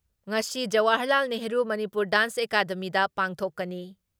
ꯉꯁꯤ ꯖꯋꯥꯍꯔꯂꯥꯜ ꯅꯦꯍꯔꯨ ꯃꯅꯤꯄꯨꯔ ꯗꯥꯟꯁ ꯑꯦꯀꯥꯗꯃꯤꯗ ꯄꯥꯡꯊꯣꯛꯀꯅꯤ ꯫